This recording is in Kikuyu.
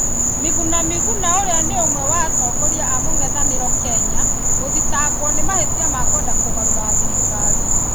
Miguna Mihuna ũrĩa nĩ ũmwe wa atongoria a mũng'ethanĩro Kenya gũthitangwo nĩ mahĩtia ma kwenda kũgarũra thirikari